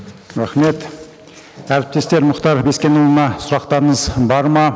рахмет әріптестер мұхтар бескенұлына сұрақтарыңыз бар ма